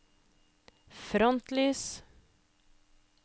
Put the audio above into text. frontlys